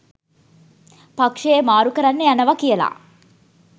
පක්ෂය මාරු කරන්න යනවා කියලා